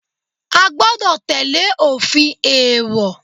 A gbọ́dọ̀ tẹ́lẹ̀ òfin èèwọ̀.